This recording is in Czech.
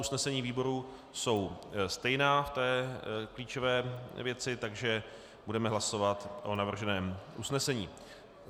Usnesení výborů jsou stejná v té klíčové věci, takže budeme hlasovat o navrženém usnesení.